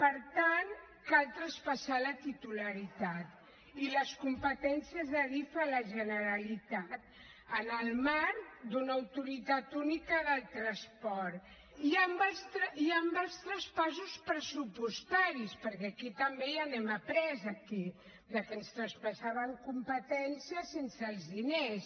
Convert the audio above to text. per tant cal traspassar la titularitat i les competències d’adif a la generalitat en el marc d’una autoritat única del transport i amb els traspassos pressupostaris perquè aquí també ja n’hem aprés aquí que ens traspassaven competències sense els diners